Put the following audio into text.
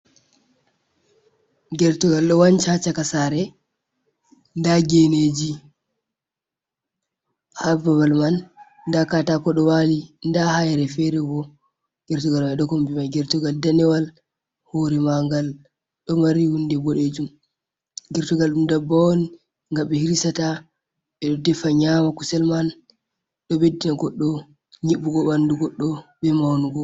Gertugal ɗo wanca ha caka sare, nda geneji ha babal man, nda katako ɗo wali, nda hayre fere bo gertugal mai ɗo kombi mai. Gertugal danewal hore magal ɗo mari hunde boɗejum . Gertugal ɗum dabbawa on nga ɓe hirsata ɓeɗo defa nyama kusel man ɗo ɓeddina goɗɗo nyibbugo ɓandu goɗɗo be maunugo.